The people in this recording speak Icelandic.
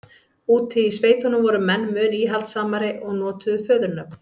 úti í sveitunum voru menn mun íhaldssamari og notuðu föðurnöfn